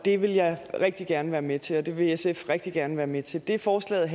det vil jeg rigtig gerne være med til og det vil sf rigtig gerne være med til det forslaget